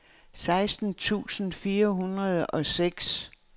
seksten tusind fire hundrede og seks